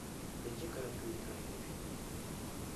найди короткометражные фильмы